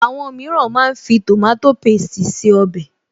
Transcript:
Àwọn mìíràn máa ń fi tòmátò pésti se ọbẹ̀